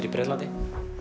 í Bretlandi